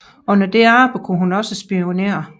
Under dette arbejde kunne hun også spionere